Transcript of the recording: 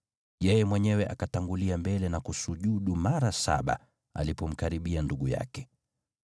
Yeye mwenyewe akatangulia mbele na kusujudu mara saba alipomkaribia ndugu yake.